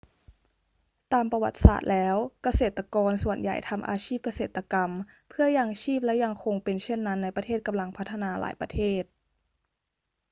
ตามประวัติศาสตร์แล้ว เกษตรกรส่วนใหญ่ทำอาชีพเกษตรกรรมเพื่อยังชีพและยังคงเป็นเช่นนั้นในประเทศกำลังพัฒนาหลายประเทศ